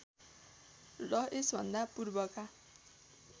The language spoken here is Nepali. र यसभन्दा पूर्वका